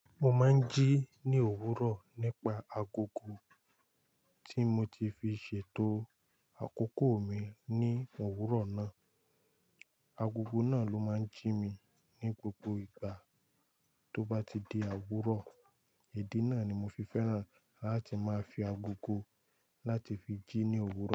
Mo máa ń jí ní òwúrọ̀ nípa agogo tí mo ti fi ṣètò àkókò mi ní òwúrọ̀ náà. Agogo náà ló máa ń jí mi ní gbogbo ìgbà tó bá ti di àwúrọ̀. Èdè náà ni mo fi fẹ́ràn láti máa fi agogo láti fi jí ní òwúrọ̀